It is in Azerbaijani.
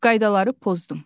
Qaydaları pozdum.